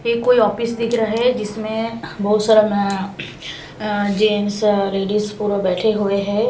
ये कोई ऑफिस दिख रहा है जिसमें बहुत सारा म अ जेन्टस लेडीज पूरा बैठे हुए हैं।